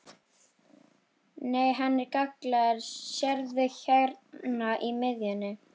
Nei, hann er gallaður, sérðu hérna í miðjunni.